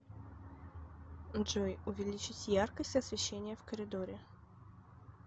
джой увеличить яркость освещения в коридоре